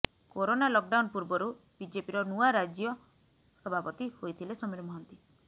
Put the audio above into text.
corona lockdown ପୂର୍ବରୁ ବିଜେପିର ନୂଆ ରାଜ୍ୟ ସଭାପତି ହୋଇଥିଲେ ସମୀର ମହାନ୍ତି